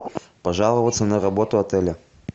пожаловаться на работу отеля